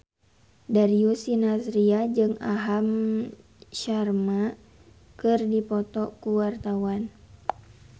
Darius Sinathrya jeung Aham Sharma keur dipoto ku wartawan